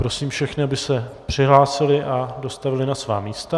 Prosím všechny, aby se přihlásili a dostavili na svá místa.